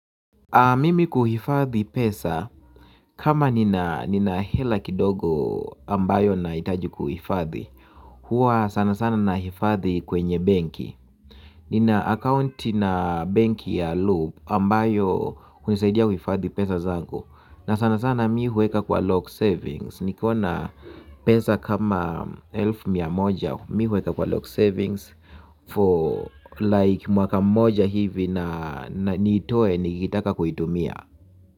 Mimi kuhifadhi pesa, kama nina hela kidogo ambayo nahitaji kuhifadhi huwa sana sana nahifadhi kwenye benki. Nina akaunti na benki ya loop ambayo hunisaidia kuhifadhi pesa zangu. Na sana sana mimi huweka kwa lock savings nikiwa na pesa kama elfu mia moja mimi huweka kwa lock savings For like mwaka mmoja hivi na nitoe nikitaka kuitumia.